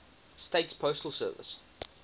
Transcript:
states postal service